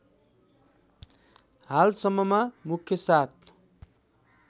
हालसम्ममा मुख्य सात